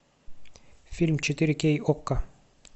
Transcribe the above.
фильм четыре кей окко